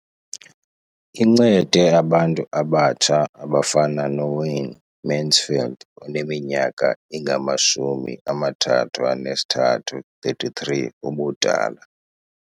Incede abantu abatsha abafana noWayne Mansfield oneminyaka engama-33 ubudala.